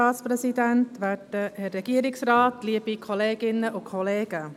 Zuerst für die BDP, Beatrice Eichenberger.